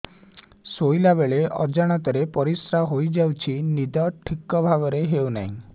ଶୋଇଲା ବେଳେ ଅଜାଣତରେ ପରିସ୍ରା ହୋଇଯାଉଛି ନିଦ ଠିକ ଭାବରେ ହେଉ ନାହିଁ